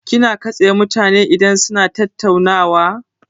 Kina katse mutane idan suna tattaunawa?